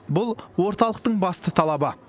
бұл орталықтың басты талабы